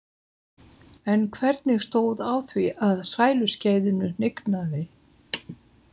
En hvernig stóð á því að sæluskeiðinu hnignaði?